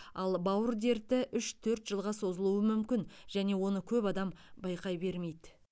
ал бауыр дерті үш төрт жылға созылуы мүмкін және оны көп адам байқай бермейді